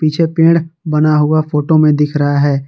पीछे पेड़ बना हुआ फोटो में दिख रहा है।